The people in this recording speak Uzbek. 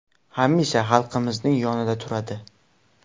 Hamisha xalqimizning yonida turadi.